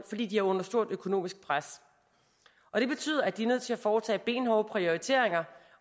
fordi de er under et stort økonomisk pres og det betyder at de er nødt til at foretage benhårde prioriteringer